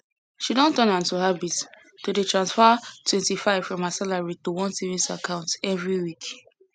she don turn am to habit to dey transfer 25 from her salary to one savings account every week